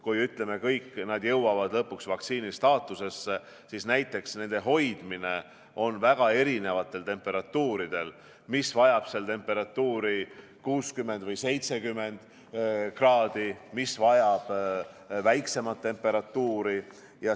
Kui kõik nad jõuavad lõpuks vaktsiini staatusesse, siis neid hoitakse väga erinevatel temperatuuridel, mõni vajab temperatuuri –60 või –70 kraadi, mõni vajab kõrgemat temperatuuri.